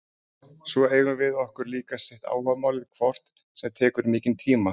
Svo eigum við okkur líka sitt áhugamálið hvort sem tekur mikinn tíma.